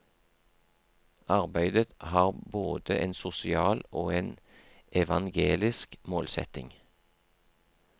Arbeidet har både en sosial og en evangelisk målsetting.